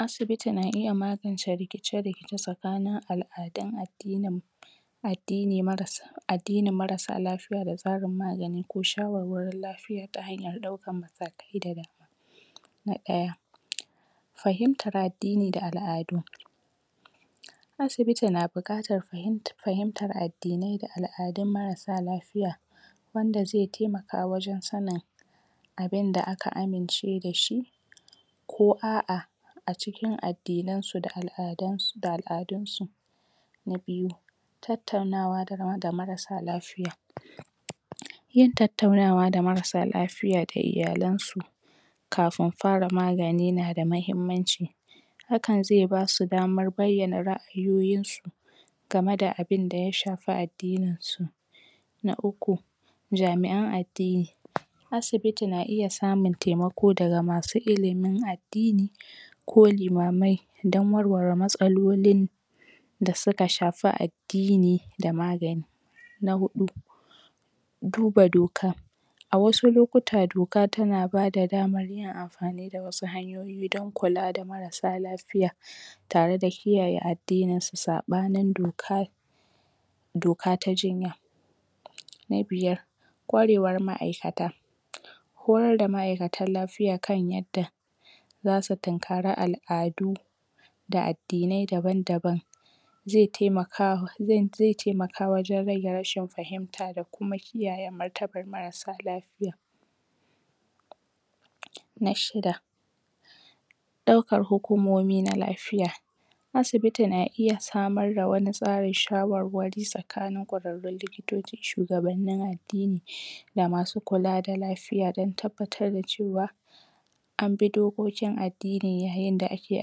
Um asibiti na iya magance rikice-rikice tsakanin al'adun al'umma addini marasa addninin marasa lafiya da tsarin magani ko shawarwarin lafiya ta hanyar ɗaukar matakai daban. na ɗaya um fahimtar addini da al'adu asibiti na bukatar fahimt... fahimtar addinai da al'adun marasa lafiya wanda ze temaka wajen sanin abinda aka amince dashi ko a'a a cikin addinansu da al'adansu.. da al'adunsu na biyu, tattaunawa da marasa lafiya um yin tattaunawa da marasa lafiya da iyalansu kafin fara magani yana da mahimmanci hakan ze basu daman bayyana ra'ayoyinsu game da abinda ya shafi addininsu na uku jami'an addini asibiti na iya samun temako daga masu ilimin addini ko limamai don warware matsalolin da suka shafi addini da magani na huɗu duba doka a wasu lokuta doka tana bada daman yin amfani da wasu hanyoyi don kula da marasa lafiya tare da kiyaye addininsu saɓanin doka doka ta jinya na biyar kwarewar ma'aikata horar da ma'aikatan lafiya kan yadda zasu tunkari al'adu da addinai daban-daban ze temaka.. ze.. ze temaka wajen rage rashin fahinta da kuma kiyaye martabar marasa lafiya na shida ɗaukar hukumomi na lafiya asibiti na iya samar da wani tsarin shawarwari tsakanin kwararrun likitoci, shugabannin addini da masu kula da lafiya don tabbatar da cewa anbi dokokin addinin wa inda ake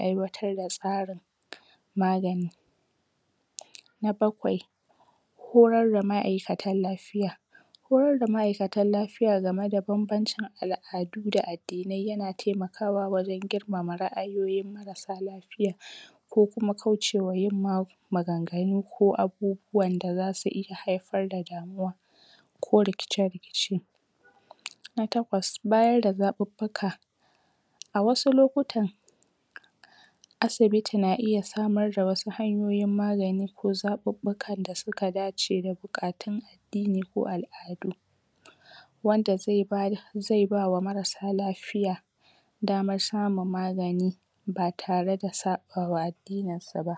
aiwatarwa tsarin maganin na bakwai horar da ma'aikatan lafiya horar da ma'aikatan lafiya game da banbancin al'adu da addinai yana taimakawa wajen girmama ra'ayoyin marasa lafiyan ko kuma kaucewa yin ma.. maganganu ko abubuwan da zasu iya haifar da damuwa ko rikice-rikice na takwas, bayar da zabuɓɓuka a wasu lokutan asibiti na iya samar da wasu hanyoyin magani ko zaɓuɓɓuka da suka dace da buƙatun addini ko al'adu wanda ze bar ze bawa marasa lafiya damar samun magani ba tare da saɓawa addininsu ba.